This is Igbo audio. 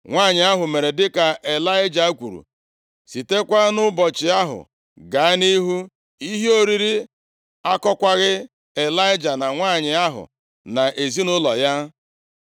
Nwanyị ahụ mere dịka Ịlaịja kwuru. Sitekwa nʼụbọchị ahụ gaa nʼihu, ihe oriri akọkwaghị Ịlaịja na nwanyị ahụ, na ezinaụlọ ya.